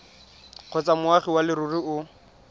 kgotsa moagi wa leruri o